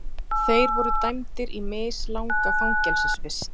Þeir voru dæmdir í mislanga fangelsisvist